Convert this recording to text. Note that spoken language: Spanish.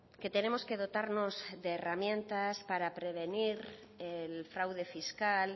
que tenemos que dotarnos de herramientas para prevenir el fraude fiscal